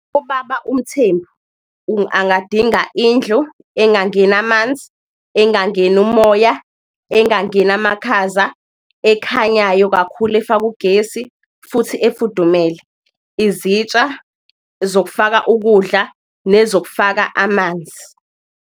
UBaba uMthembu angadinga indlu engangena amanzi, engangena umoya engangena amakhaza, ekhanyayo kakhulu, efakwe ugesi futhi efudumele. Izitsha zokufaka ukudla nezokufaka amanzi.